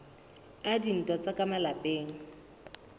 a dintwa tsa ka malapeng